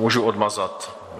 Můžu odmazat?